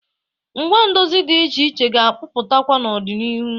Ngwa ndozi dị iche iche ga-apụtakwa n'ọdịnihu.